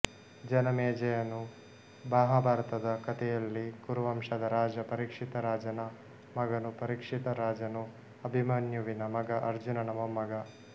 ಜನಮೇಜಯನು ಮಹಾಭಾರತದ ಕತೆಯಲ್ಲಿ ಕುರು ವಂಶದ ರಾಜ ಪರೀಕ್ಷಿತರಾಜನ ಮಗನು ಪರೀಕ್ಷಿತ ರಾಜನು ಅಭಿಮನ್ಯುವಿನ ಮಗ ಅರ್ಜುನನ ವೊಮ್ಮಗ